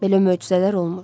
Belə möcüzələr olmur.